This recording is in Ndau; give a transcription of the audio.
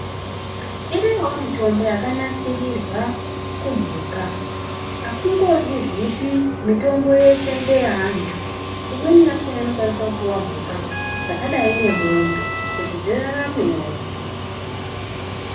Iriyowo mitombo yaka nasirirwa ku mhuka aisingozipi mitombo yeshe nge antu imweni yakona ino kwanisa kupihwa mhuka dzakadai ne mombe kuti dzi raramewo.